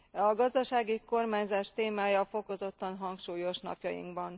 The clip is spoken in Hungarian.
A gazdasági kormányzás témája fokozottan hangsúlyos napjainkban.